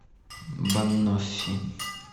баноффи